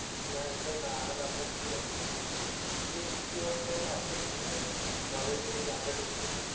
નાં એટલે જ ના આવે તો આપડે પેલી હતી જ ને, પેલી એક બીજી હોત છે ને આપડે જોઈ તે? ભાલેજ ની આગળ ની છે.